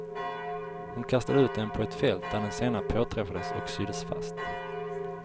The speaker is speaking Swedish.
Hon kastade ut den på ett fält, där den senare påträffades och syddes fast.